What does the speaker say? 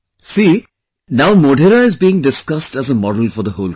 Look, now Modhera is being discussed as a model for the whole country